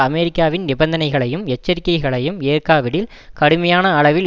அமெரிக்காவின் நிபந்தனைகளையும் எச்சரிக்கைகளையும் ஏற்காவிடில் கடுமையான அளவில்